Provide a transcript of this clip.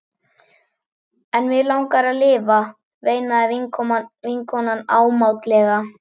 En mig langar að lifa, veinaði vinkonan ámátlega.